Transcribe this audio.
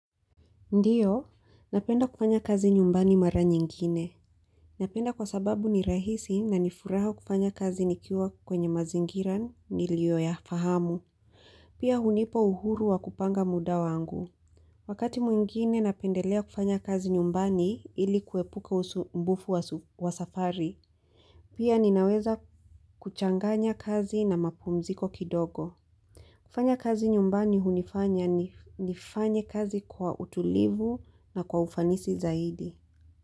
Ndiyo, napenda kufanya kazi nyumbani mara nyingine. Napenda kwa sababu ni rahisi na nifuraha kufanya kazi nikiwa kwenye mazingira nilio ya fahamu. Pia hunipa uhuru wa kupanga muda wangu. Wakati mwingine napendelea kufanya kazi nyumbani ili kuepuka usumbufu wa safari. Pia ninaweza kuchanganya kazi na mapumziko kidogo. Kufanya kazi nyumbani hunifanya nifanya kazi kwa utulivu na kwa ufanisi zaidi.